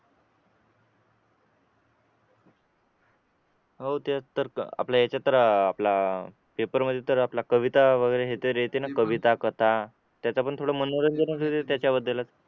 हो तेच तर आपल्या ह्याच्यात तर आपलं पेपर मध्ये तर आपला कविता वगैरे ते हे येते ना कविता कथा त्याच पण थोडं मनोरंजनच आहे त्याच्याबद्दल